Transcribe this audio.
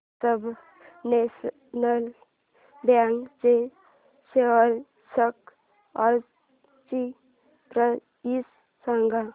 Punjab national bank च्या shares आजची price सांगा